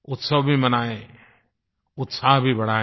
उत्सव भी मनायें उत्साह भी बढ़ायें